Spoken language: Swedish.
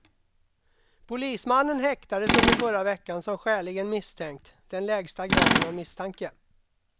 Polismannen häktades under förra veckan som skäligen misstänkt, den lägsta graden av misstanke.